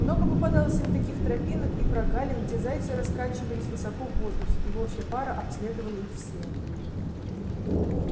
много попадалось им таких тропинок и прогалин где зайцы раскачивались высоко в воздухе и волчья пара обследовала их все